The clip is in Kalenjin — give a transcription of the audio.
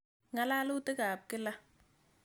Ng'alalutik ap kila.